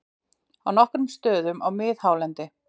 Á nokkrum stöðum á miðhálendi